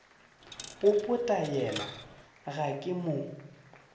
popota yena ga ke mo